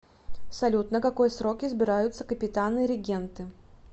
салют на какой срок избираются капитаны регенты